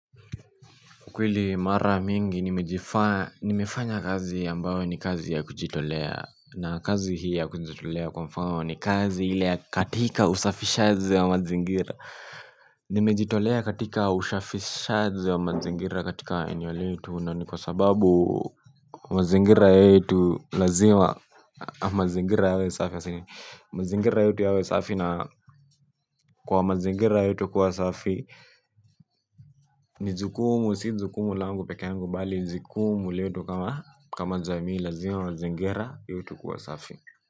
Kweli mara mingi nimefanya kazi ambayo ni kazi ya kujitolea na kazi hii ya kujitolea kwa mfano ni kazi ile ya katika usafishaji wa mazingira. Nimejitolea katika usafishaji wa mazingira katika eneo letu na ni kwa sababu mazingira yetu lazima mazingira yawe safi mazingira yote yawe safi na kwa mazingira yote kuwa safi ni jukumu si jukumu langu pekee yangu bali jukumu letu kama kama jamii lazima mazingira iwe tu kuwa safi.